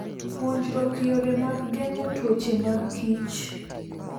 Puonjruok yore mag geng'o tuoche magkich.